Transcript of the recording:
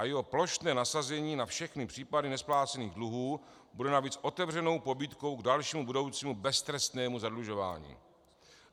A jeho plošné nasazení na všechny případy nesplácených dluhů bude navíc otevřenou pobídkou k dalšímu budoucímu beztrestnému zadlužování.